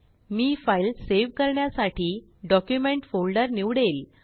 मी file save करण्यासाठी document folder निवडेल